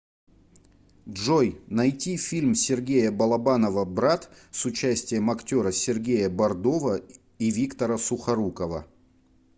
джой найти фильм сергея балабанова брат с участием актера сергея бордова и виктора сухорукова